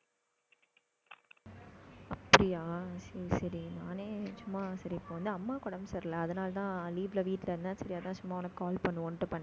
அப்படியா சரி சரி நானே சும்மா சரி இப்ப வந்து அம்மாவுக்கு உடம்பு சரியில்லை. அதனாலதான் leave ல, வீட்டுல இருந்தேன். சரி அதான், சும்மா உனக்கு call பண்ணுவோம்ன்னுட்டு பண்ணேன்